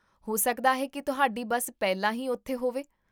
ਹੋ ਸਕਦਾ ਹੈ ਕੀ ਤੁਹਾਡੀ ਬੱਸ ਪਹਿਲਾਂ ਹੀ ਉੱਥੇ ਹੋਵੇ